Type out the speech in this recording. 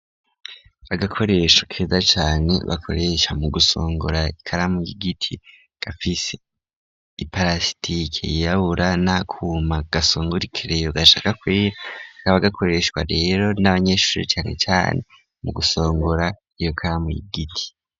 Agakoresho keza cane bakoresha mu gusongora ikaramu y'igiti gafise i parasitike yiyabura na kuma gasongura ikereyo gashaka kwee akaba gakoreshwa rero n'abanyeshuri canke cane mu gusongora iyo karamu yigiti.